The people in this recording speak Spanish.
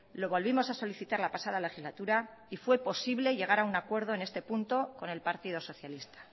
lo volvimos a solicitar la pasada legislatura y fue posible llegar a un acuerdo en este punto con el partido socialista